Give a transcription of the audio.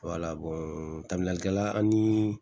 tabiyalikɛla an ni